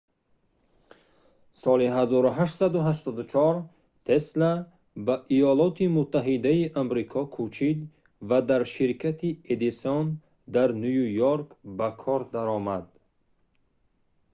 соли 1884 тесла ба иёлоти муттаҳидаи амрико кӯчид ва дар ширкати эдисон дар ню йорк ба кор даромад